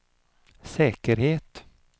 säkerhet